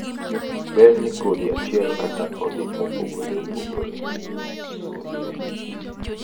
berr ne kodhi achiel kata odhi mopogoreopogore. Sulwe 900 1800 2.5-3 6-9